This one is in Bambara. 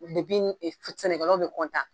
sɛnɛkalaw bɛ